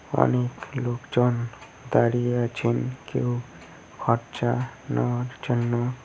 অনেক লোকজন দাঁড়িয়ে আছেন কেউ খরচা নেওয়ার জন্য।